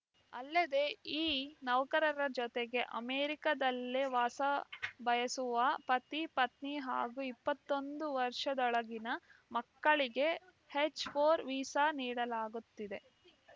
ಅಲ್ಲದೆ ಈ ನೌಕರರ ಜೊತೆಗೆ ಅಮೆರಿಕದಲ್ಲೇ ವಾಸ ಬಯಸುವ ಪತಿ ಪತ್ನಿ ಹಾಗೂ ಇಪ್ಪತ್ತೊಂದು ವರ್ಷದೊಳಗಿನ ಮಕ್ಕಳಿಗೆ ಎಚ್‌ ಫೋರ್ ವೀಸಾ ನೀಡಲಾಗುತ್ತಿದೆ